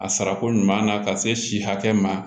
A sarako ɲuman na ka se si hakɛ ma